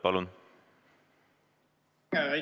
Palun!